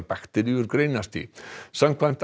bakteríur greinast í samkvæmt